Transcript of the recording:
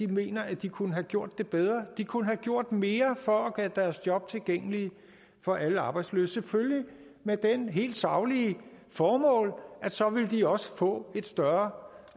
mener at de kunne have gjort det bedre de kunne have gjort mere for at gøre deres job tilgængelige for alle arbejdsløse selvfølgelig med det helt saglige formål at så ville de også få et større